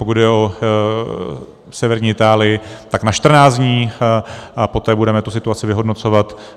Pokud jde o severní Itálii, tak na 14 dní a poté budeme tu situaci vyhodnocovat.